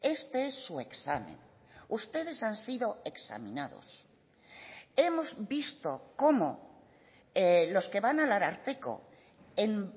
este es su examen ustedes han sido examinados hemos visto como los que van al ararteko en